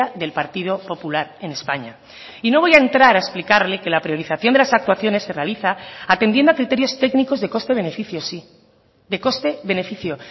del partido popular en españa y no voy a entrar a explicarle que la priorización de las actuaciones se realiza atendiendo a criterios técnicos de coste beneficio sí de coste beneficio